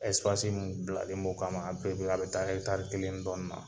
minnu bilanen don o kama, a bɛ taa taari kelen dɔɔnin la.